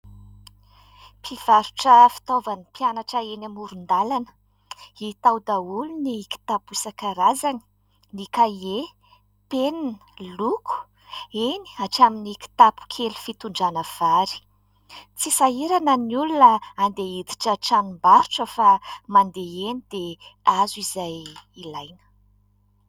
Mpivarotra fitaovan'ny mpianatra eny amoron-dalana. Hita ao daholo ny kitapo isan-karazany : ny kahie, ny penina, ny loko, eny hatramin'ny kitapo kely fitondrana vary. Tsy sahirana ny olona handeha hiditra tranom-barotra fa mandeha eny dia azo izay ilaina.